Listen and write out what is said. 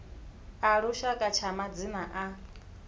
a lushaka tsha madzina a